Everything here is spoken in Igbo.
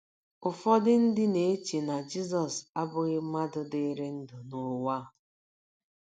Ụfọdụ ndị na - eche na Jizọs abụghị mmadụ dịrị ndụ n’ụwa a.